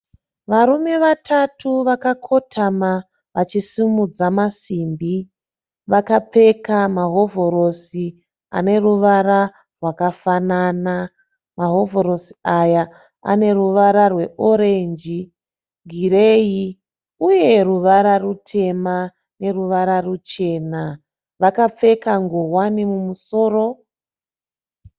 Varume vatatu vakakotama vachisimudza masimbi. Vakapfeka mahovhorosi ane ruvara rwakafanana. Mahovhorosi aya ane ruvara rweorenji, gireyi uye ruvara rutema neruvara ruchana. Vakapfeka nguwani mumusoro.